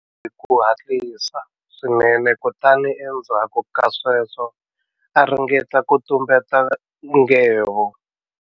Hi ku hatlisa swinene kutani endzhaku ka sweswo a ringeta ku tumbeta nghevo.